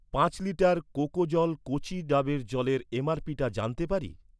পাঁচ লিটার কোকোজল কচি ডাবের জলের এমআরপিটা জানতে পারি?